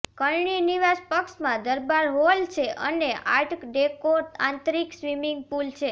કરણી નિવાસ પક્ષમાં દરબાર હોલ છે અને આર્ટ ડેકો આંતરીક સ્વીમીંગ પુલ છે